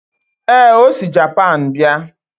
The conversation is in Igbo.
ee, o si Japan bịa